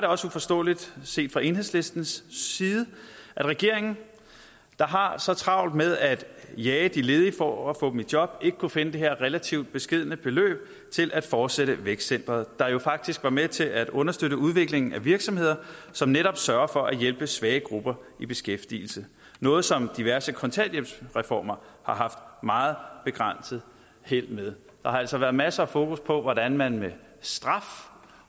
også uforståeligt set fra enhedslistens side at regeringen der har så travlt med at jage de ledige for at få dem i job ikke kunne finde det her relativt beskedne beløb til at fortsætte vækstcenteret der jo faktisk var med til at understøtte udviklingen af virksomheder som netop sørger for at hjælpe svage grupper i beskæftigelse noget som diverse kontanthjælpsreformer har haft meget begrænset held med der har altså været masser af fokus på hvordan man med straf